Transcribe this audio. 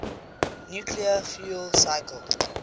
nuclear fuel cycle